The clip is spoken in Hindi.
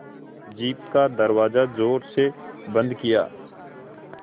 जीप का दरवाज़ा ज़ोर से बंद किया